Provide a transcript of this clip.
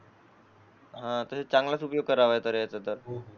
हा तसा चांगलाच उपयोग करावा करायचा आहे तर